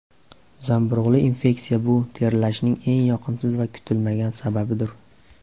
Zamburug‘li infeksiya Bu terlashning eng yoqimsiz va kutilmagan sababidir.